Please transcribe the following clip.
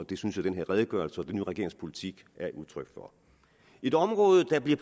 det synes jeg den her redegørelse og den nye regerings politik er udtryk for et område der bliver